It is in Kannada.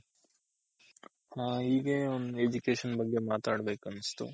ಹಾ ಹೀಗೆ ಒಂದ್ Education ಬಗ್ಗೆ ಮಾತಾಡ್ ಬೇಕನ್ನಿಸ್ತು